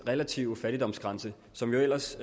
relative fattigdomsgrænse som jo ellers